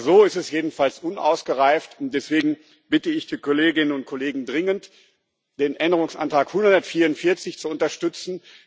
Aber so ist es jedenfalls unausgereift, und deswegen bitte ich die Kolleginnen und Kollegen dringend, den Änderungsantrag 144 zu unterstützen.